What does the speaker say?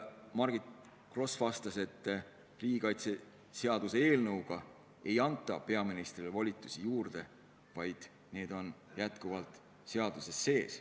Margit Gross vastas, et riigikaitseseaduse eelnõu kohaselt ei anta peaministrile volitusi juurde, need on praegugi seaduses olemas.